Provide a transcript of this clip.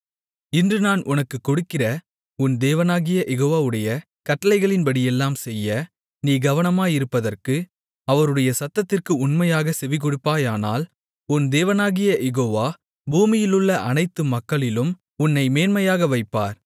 இன்று நான் உனக்கு கொடுக்கிற உன் தேவனாகிய யெகோவாவுடைய கட்டளைகளின்படியெல்லாம் செய்ய நீ கவனமாயிருப்பதற்கு அவருடைய சத்தத்திற்கு உண்மையாகச் செவிகொடுப்பாயானால் உன் தேவனாகிய யெகோவா பூமியிலுள்ள அனைத்து மக்களிலும் உன்னை மேன்மையாக வைப்பார்